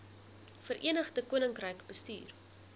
verenigde koninkryk bestuur